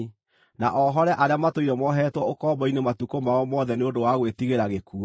na ohore arĩa matũire mohetwo ũkombo-inĩ matukũ mao mothe nĩ ũndũ wa gwĩtigĩra gĩkuũ.